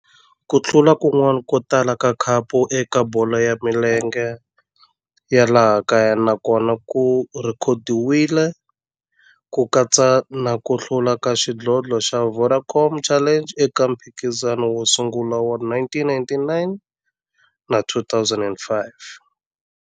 Ku hlula kun'wana ko tala ka khapu eka bolo ya milenge ya laha kaya na kona ku rhekhodiwile, ku katsa na ku hlula ka xidlodlo xa Vodacom Challenge eka mphikizano wo sungula wa 1999 na 2005.